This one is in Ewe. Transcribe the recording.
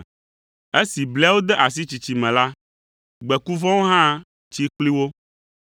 Esi bliawo de asi tsitsi me la, gbeku vɔ̃awo hã tsi kpli wo.